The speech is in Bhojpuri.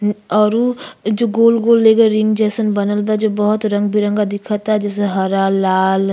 औरु जो गोल गोल लेगे रिंग जइसन बनल बा जो बहुत रंग बिरंगा दिखता जैसे हरा लाल --